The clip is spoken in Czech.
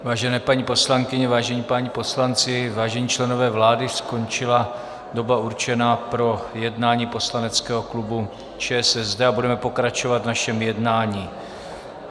Vážené paní poslankyně, vážení páni poslanci, vážení členové vlády, skončila doba určená pro jednání poslaneckého klubu ČSSD a budeme pokračovat v našem jednání.